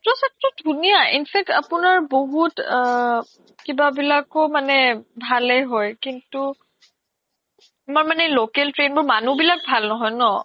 metro চেত্ত্ৰ ধুনিয়া in fact আপোনাৰ বহুত কিবা বিলাকো ভালে হয় কিন্তু আমাৰ মানে local train মানুহ বিলাক ভাল নহয় ন